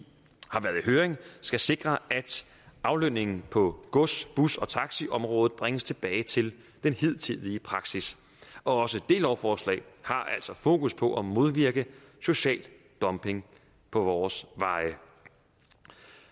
høring skal sikre at aflønningen på gods bus og taxiområdet bringes tilbage til den hidtidige praksis også det lovforslag har altså fokus på at modvirke social dumping på vores veje